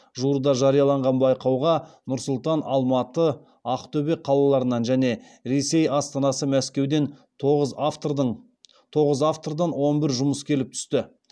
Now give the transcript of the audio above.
жуырда жарияланған байқауға нұр сұлтан алматы ақтөбе қалаларынан және ресей астанасы мәскеуден тоғыз автордан он бір жұмыс келіп түсті